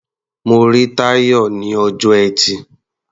Mo rí Táyọ̀ ní ọjọ́ Ẹtì.